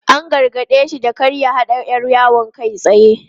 An gargade shi da kar ya haɗa 'yar yawon kai tsaye.